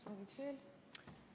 Sooviksin aega juurde.